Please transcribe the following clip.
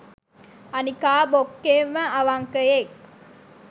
අනිකා බොක්කේම අවංකයෙක්